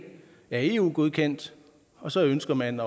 er eu godkendt og så ønsker man